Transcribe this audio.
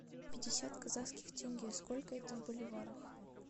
пятьдесят казахских тенге сколько это в боливарах